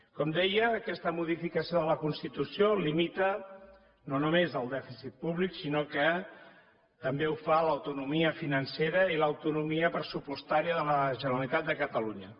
com deia aquesta modificació de la constitució limita no només el dèficit públic sinó que també ho fa a l’autonomia financera i a l’autonomia pressupostària de la generalitat de catalunya